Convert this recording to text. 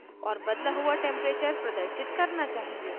और बदला हुआ टेंपरेचर प्रदर्शित करना चाहिए